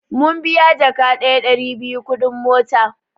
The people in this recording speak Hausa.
Mun biya jaka daya (Ɗari biyu) kuɗin mota